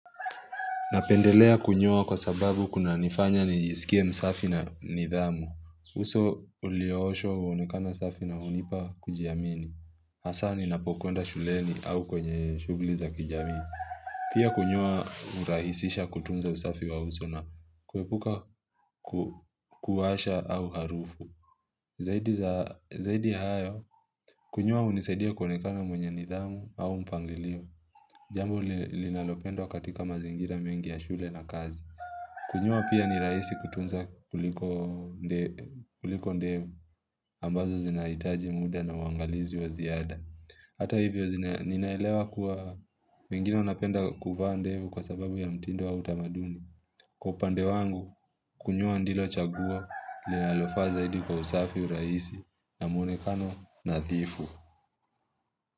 Napendelea kunyoa kwa sababu kunanifanya nisikie msafi na nidhamu. Uso uliooshwa huonekana safi na hunipa kujiamini. Hasa ninapokwenda shuleni au kwenye shughuli za kijamii. Pia kunyoa hurahisisha kutunza usafi wa uso na kuepuka kuwasha au harufu. Zaidi za zaidi ya hayo, kunyoa hunisaidia kuonekana mwenye nidhamu au mpangilio. Jambo linalopendwa katika mazingira mengi ya shule na kazi. Kunyoa pia ni rahisi kutunza kuliko ndevu ambazo zinahitaji muda na uangalizi wa ziada. Hata hivyo ninaelewa kuwa wengine wanapenda kuvaa ndevu kwa sababu ya mtindo wa utamaduni. Kwa upande wangu kunyoa ndilo chaguo linalofaa zaidi kwa usafi, urahisi na mwonekano nadhifu.